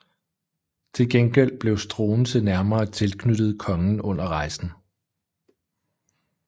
Til gengæld blev Struensee nærmere tilknyttet kongen under rejsen